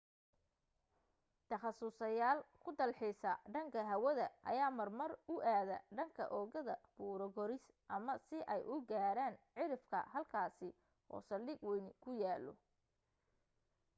takhasuslyaal ku dalxiisa dhanka hawada ayaa marmar u aada dhanka oogada buuro koris ama si ay u gaaran cirifka halkaas oo saldhig wayni ku yaallo